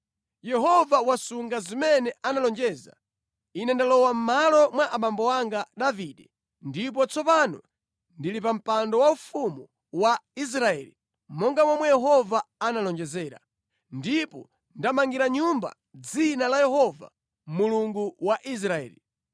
“Yehova wasunga zimene analonjeza: ine ndalowa mʼmalo mwa abambo anga Davide ndipo tsopano ndili pa mpando waufumu wa Israeli, monga momwe Yehova analonjezera, ndipo ndamangira nyumba Dzina la Yehova, Mulungu wa Israeli.